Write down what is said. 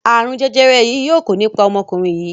arun jẹjẹrẹ yii yóò kò ní pá omokunrin yii.